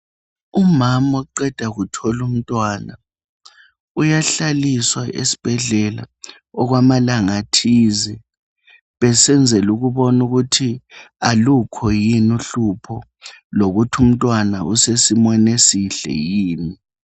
Umama oqeda kuthol' umntwana, uyahlaliswa esbhedlela okwamalanga athize, besenzel' ukubona ukuthi alukho yini uhlupho, lokuthi umtwana usesimweni esihle yini.